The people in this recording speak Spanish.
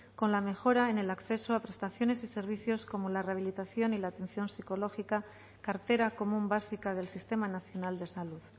con la mejora en el acceso a prestaciones y servicios como la rehabilitación y la atención psicológica cartera común básica del sistema nacional de salud